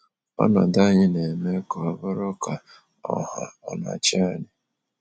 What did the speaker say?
Ọnọdụ anyị na-eme ka ọ bụrụ ka ọ ha na achị anyị.